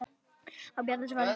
Og Bjarni svarar.